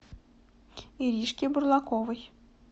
иришке бурлаковой